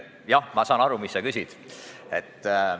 Jah, ma saan aru, mida sa küsid.